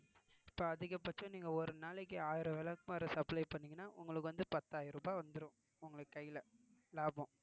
இப்ப அதிகபட்சம் நீங்க ஒரு நாளைக்கு ஆயிரம் விளக்குமாறு supply பண்ணீங்கன்னா உங்களுக்கு வந்து பத்தாயிரம் ரூபாய் வந்துரும் உங்களுக்கு கையில லாபம்